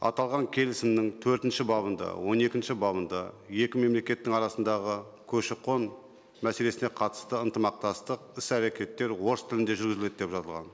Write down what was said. аталған келісімнің төртінші бабында он екінші бабында екі мемлекеттің арасындағы көші қон мәселесіне қатысты ынтымақтастық іс әрекеттер орыс тілінде жүргізіледі деп жазылған